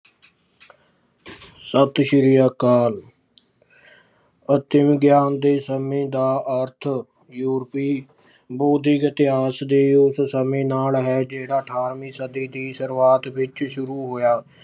ਸਤਿ ਸ਼੍ਰੀ ਅਕਾਲ ਆਤਮ ਗਿਆਨ ਦੇ ਸਮੇਂ ਦਾ ਅਰਥ ਯੂਰਪੀ ਬੌਧਿਕ ਇਤਿਹਾਸ ਦੇ ਉਸ ਸਮੇਂ ਨਾਲ ਹੈ, ਜਿਹੜਾ ਅਠਾਰਵੀਂ ਸਦੀ ਦੀ ਸ਼ੁਰੂਆਤ ਵਿੱਚ ਸ਼ੁਰੂ ਹੋਇਆ